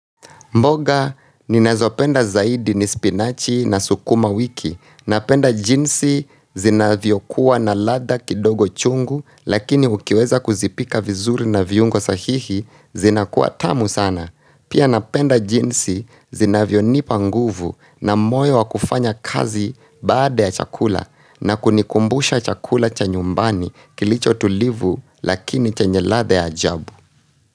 Mboga ninazopenda zaidi ni spinachi na sukuma wiki. Napenda jinsi zinavyo kuwa na ladha kidogo chungu, lakini ukiweza kuzipika vizuri na viungo sahihi zinakuwa tamu sana. Pia napenda jinsi zinavyonipa nguvu na moyo wa kufanya kazi baada ya chakula, na kunikumbusha chakula cha nyumbani, kilicho tulivu lakini chenye ladha ya ajabu.